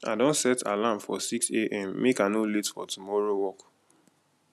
i don set alarm for 6am make i no late for tomorrow work